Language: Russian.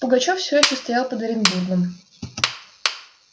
пугачёв всё ещё стоял под оренбургом